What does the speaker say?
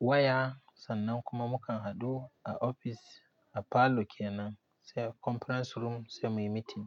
waya sannan kuma mukan hadu a office a falo kenan, sai a conference room sai muyi meeting.